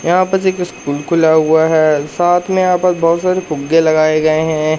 यहां पर एक स्कूल खुला हुआ है। साथ में आप बहोत सारी फुग्गे लगाए गए हैं।